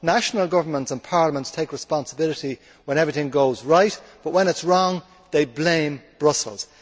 National governments and parliaments take responsibility when everything goes right, but when it is wrong they blame Brussels.